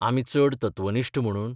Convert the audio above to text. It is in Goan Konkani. आमी चड तत्वनिश्ठ म्हणून?